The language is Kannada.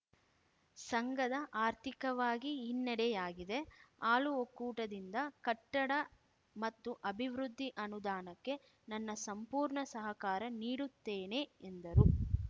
ಸಂಘದ ಆರ್ಥಿಕವಾಗಿ ಹಿನ್ನಡೆಯಾಗಿದೆ ಹಾಲು ಒಕ್ಕೂಟದಿಂದ ಕಟ್ಟಡ ಮತ್ತು ಅಭಿವೃದ್ದಿ ಅನುದಾನಕ್ಕೆ ನನ್ನ ಸಂಪೂರ್ಣ ಸಹಕಾರ ನೀಡುತ್ತೇನೆ ಎಂದರು